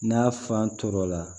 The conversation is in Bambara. N'a fan toɔrɔ la